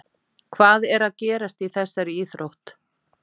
Hvað er að gerast í þessari íþrótt?